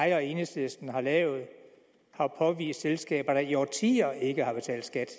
jeg og enhedslisten har lavet har påvist selskaber der i årtier ikke har betalt skat